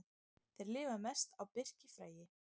Þeir lifa mest á birkifræi.